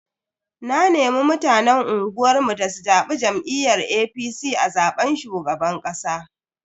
Na nemi mutanen unguwar mu da su zabi jam'iyyar APC a zaben shugaban kasa.